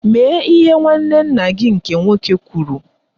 Mee ihe nwanne nna gị nke nwoke kwụrụ.